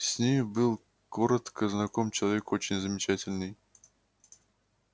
с нею был коротко знаком человек очень замечательный